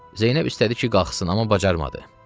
Zeynəb istədi ki, qalxsın, amma bacarmadı.